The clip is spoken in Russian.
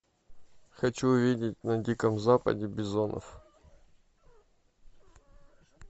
хочу увидеть на диком западе бизонов